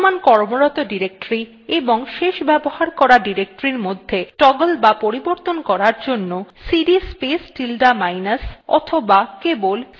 বর্তমান কর্মরত directory এবং শেষ ব্যবহার করা directory মধ্যে toggle বা পরিবর্তন করার জন্য সিডি স্পেস tilde minus অথবা কেবল সিডি স্পেস minus command ব্যবহার করতে হয়